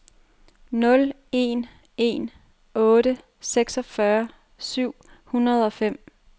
nul en en otte seksogfyrre syv hundrede og fem